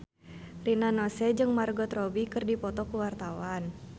Rina Nose jeung Margot Robbie keur dipoto ku wartawan